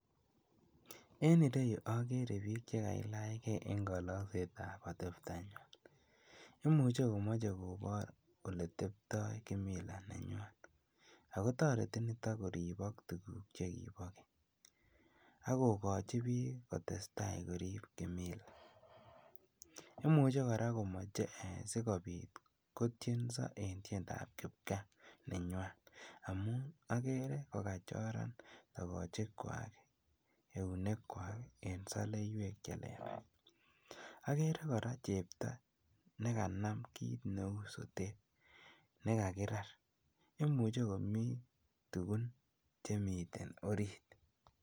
En ireyuu okere biik chekailach Kee en koloksetab atebtanywan, imuche komoche kobor eletebto kimila nenywan, ak kotoreti niton koribok tukuk chekibo keny, akokochi biik ak kokochi biik kotesta koriib kimila, imuche kora komoche sikobit kotinso en tiendab kipkaa nenywan amun akere kokachoran tokochikwak, eunekwak en soleiwek chelelach, okere kora chepto nekanam kiit neuu sotet nekakirar, imuche komii tukun chemiten oriit.